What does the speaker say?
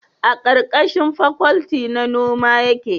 a karkashin fakwalti na noma yake